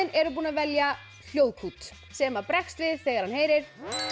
eru búin að velja hljóðkút sem bregst við þegar hann heyrir